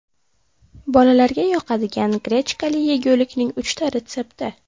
Bolalarga yoqadigan grechkali yegulikning uchta retsepti.